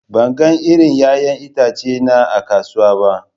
Ban ga irin 'ya'yan itace na a kasuwa ba.